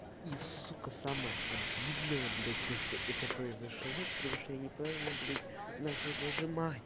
и сука самое обидное блядь то что это произошло потому что я неправильно блядь начал зажимать